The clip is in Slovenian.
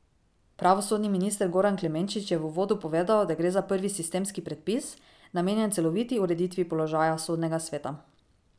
Pravosodni minister Goran Klemenčič je v uvodu povedal, da gre za prvi sistemski predpis, namenjen celoviti ureditvi položaja Sodnega sveta.